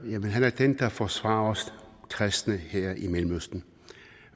jamen han er den der forsvarer os kristne her i mellemøsten